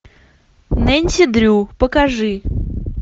нэнси дрю покажи